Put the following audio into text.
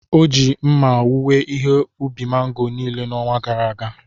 O ji mma owuwe ihe ubi mango niile n’ọnwa gara aga.